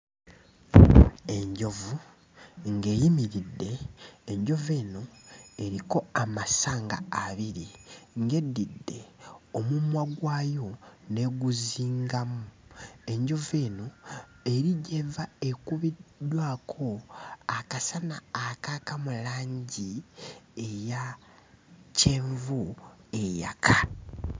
Enjovu ng'eyimiridde, enjovu eno eriko amasanga abiri, ng'eddidde omumwa gwayo n'eguzingamu. Enjovu eno eri gy'eva ekubiddwako akasana akaaka mu langi eya kyenvu eyaka.